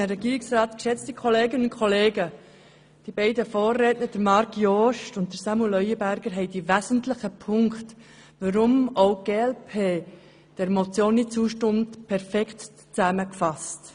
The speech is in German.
Die beiden Vorredner, Marc Jost und Samuel Leuenberger, haben die wesentlichen Punkte, weshalb auch die glp dieser Motion nicht zustimmt, perfekt zusammengefasst.